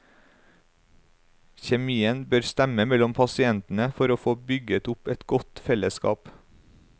Kjemien bør stemme mellom pasientene for å få bygget opp et godt fellesskap.